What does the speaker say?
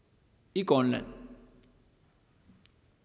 i grønland